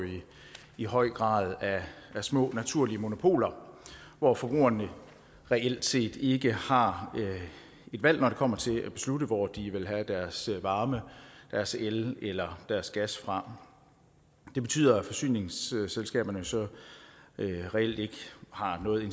i høj grad af små naturlige monopoler hvor forbrugerne reelt set ikke har et valg når det kommer til at beslutte hvor de vil have deres varme deres el eller deres gas fra det betyder at forsyningsselskaberne så reelt ikke har noget